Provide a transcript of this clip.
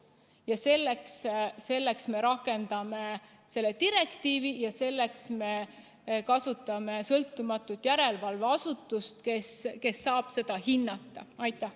Ja selleks me rakendamegi seda direktiivi ja kasutame sõltumatut järelevalveasutust, kes saab selle täitmist hinnata.